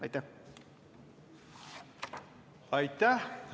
Aitäh!